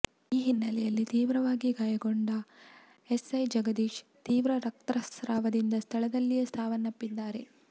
ಈ ಹಿನ್ನೆಲೆಯಲ್ಲಿ ತೀವ್ರವಾಗಿ ಗಾಯಗೊಂಡ ಎಸ್ಸೈ ಜಗದೀಶ್ ತೀವ್ರ ರಕ್ತಸ್ರಾವವಾಗಿ ಸ್ಥಳದಲ್ಲಿಯೇ ಸಾವನ್ನಪ್ಪಿದ್ದಾರೆ